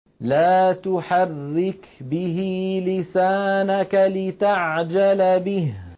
لَا تُحَرِّكْ بِهِ لِسَانَكَ لِتَعْجَلَ بِهِ